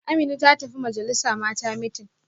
Amina ta tafi majalisa Mata meeting